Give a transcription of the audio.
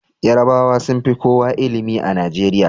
Yarabawa sun fi kowa ilimi a Najeriya